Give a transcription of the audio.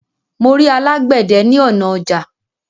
Mo rí alágbède ní ọnà ọjà